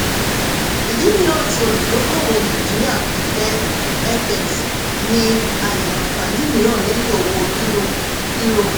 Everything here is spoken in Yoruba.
ìdí mìíràn tí òludókòowò nàìjíríà fi fẹ́ fx ni àyè àǹfààní mìíràn lẹ́yìn owó euro. euro.